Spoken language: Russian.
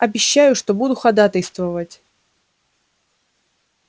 обещаю что буду ходатайствовать